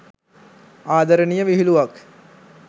ආදරණීය විහිළුවක්.